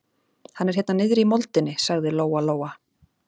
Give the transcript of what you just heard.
Hann er hérna niðri í moldinni, sagði Lóa Lóa.